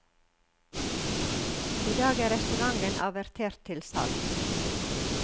I dag er restauranten avertert til salgs.